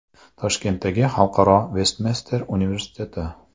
Toshkentdagi Xalqaro Vestminster universiteti.